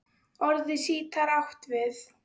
Orðið sítar átt við